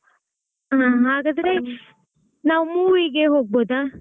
ಹಾಗಾದ್ರೆ ನಾವು movie ಗೆ ಹೋಗಬೋದಾ?